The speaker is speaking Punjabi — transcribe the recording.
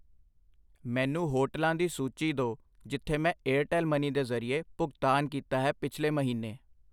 ਮੈਨੂੰ ਹੋਟਲਾਂ ਦੀ ਸੂਚੀ ਦੋ ਜਿਥੇ ਮੈਂ ਏਅਰਟੈੱਲ ਮਨੀ ਦੇ ਜਰਿਏ ਭੁਗਤਾਨ ਕੀਤਾ ਹੈ ਪਿੱਛਲੇ ਮਹੀਨਾ I